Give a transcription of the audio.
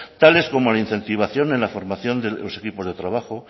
tales como la incentivación en la formación de los equipos de trabajo